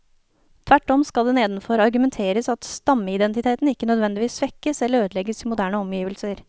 Tvert om skal det nedenfor argumenteres at stammeidentiteten ikke nødvendigvis svekkes eller ødelegges i moderne omgivelser.